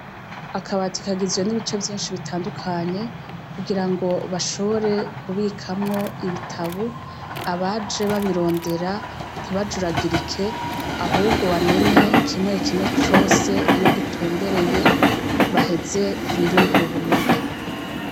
Akabati kagizwe nibice vyinshi bitandukanye kugira ngo bashobore kubikwamwo ibitabo abaje babirondera ntibajuragirike ahubwo bamenye kimwe kimwe cose iyo gitumbereye baheze biyungure ubumenyi